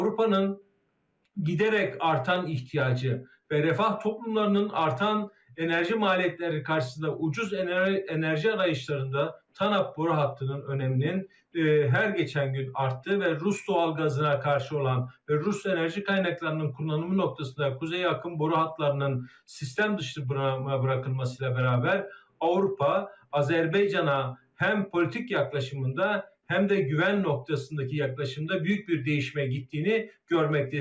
Avropanın giderek artan ihtiyacı ve refah toplumlarının artan enerji maliyetleri karşısında ucuz enerji arayışlarında Tanap boru hattının önəminin hər keçən gün arttı və Rus doğalgazına qarşı olan Rus enerji qaynaqlarının kullanımı noktasında Kuzey akım boru hatlarının sistem dışı bırakılmasıyla beraber Avropa Azərbaycana həm politik yaxınlaşımında, həm də güvən noktasındaki yaxınlaşımda büyük bir değişmə getdiyini görməkdəyiz.